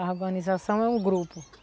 A urbanização é um grupo.